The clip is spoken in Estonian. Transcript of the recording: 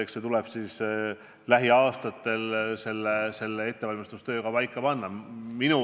Eks see tuleb lähiaastatel selle ettevalmistustöö käigus paika panna.